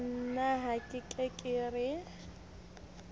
na ha ke re ke